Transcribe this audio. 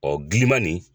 Ɔ giliman nin